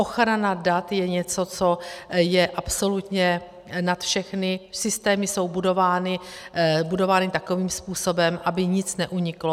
Ochrana dat je něco, co je absolutně nad všechny, systémy jsou budovány takovým způsobem, aby nic neuniklo.